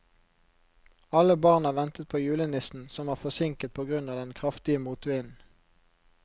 Alle barna ventet på julenissen, som var forsinket på grunn av den kraftige motvinden.